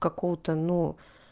какого то ну